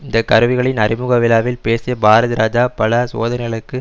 இந்த கருவிகளின் அறிமுக விழாவில் பேசிய பாரதிராஜா பல சோதனைகளுக்கு